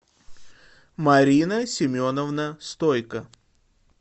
марина семеновна стойко